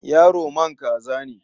Yaro man kaza ne.